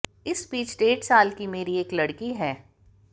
इस बीच डेढ़ साल की मेरी एक लड़की है